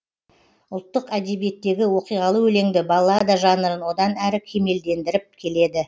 ұлттық әдебиеттегі оқиғалы өлеңді баллада жанрын одан әрі кемелдендіріп келеді